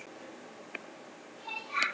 Mjög góð.